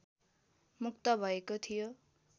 मुक्त भएको थियो